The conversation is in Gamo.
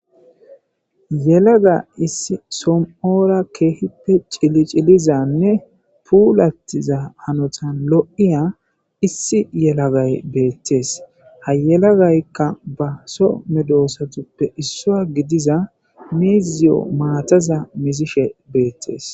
yelaga issi som7ora keehippe cili cilizanne puulattiza hanotan lo7iya issi yelagay beettees hayelagaykka ba so medoosatuppe issoa gidiza miiziyo maataza mizishe beettees